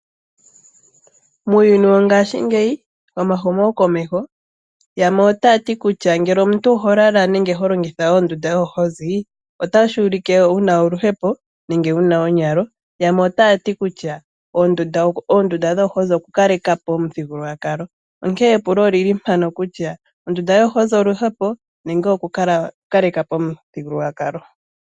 Muuyuni wongashingeyi womahumokomeho yamwe otaya ti kutya ngele omuntu oho lala nenge holongitha ondunda yoohozi, otashi ulike wu na oluhepo nenge wu na onyalo, yamwe otaya ti kutya oondunda dhoohozi okukaleka po omuthigululwakalo, onkee epulo olili mpano kutya ondunda yoohozi oluhepo nenge okukaleka po omuthigululwakalo?